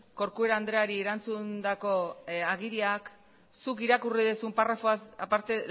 corcuera andreari erantzundako agiriak zuk irakurri duzun paragrafoak aparte